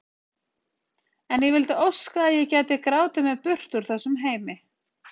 En ég vildi óska að ég gæti grátið mig burt úr þessum heimi.